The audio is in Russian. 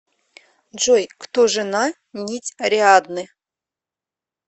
джой кто жена нить ариадны